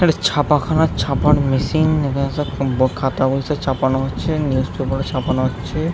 ছাপাখানার ছাপার মেশিন | এখানে সব খাতা বই সব ছাপানো হছে নিউস পেপার -ও ছাপানো হচ্ছে।